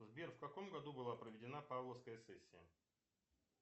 сбер в каком году была проведена павловская сессия